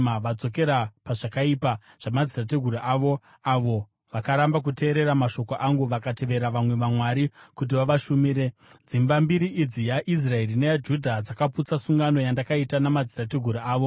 Vadzokera pazvakaipa zvamadzitateguru avo, avo vakaramba kuteerera mashoko angu. Vakatevera vamwe vamwari kuti vavashumire. Dzimba mbiri idzi, yaIsraeri neyaJudha dzakaputsa sungano yandakaita namadzitateguru avo.